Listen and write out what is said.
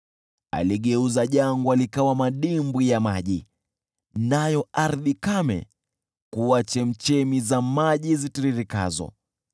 Aligeuza jangwa likawa madimbwi ya maji, nayo ardhi kame kuwa chemchemi za maji zitiririkazo;